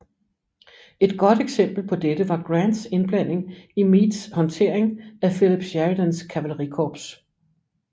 Et godt eksempel på dette var Grants indblanding i Meades håndtering af Philip Sheridans kavalerikorps